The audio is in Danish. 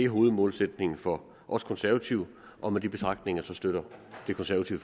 hovedmålsætningen for os konservative og med de betragtninger støtter det konservative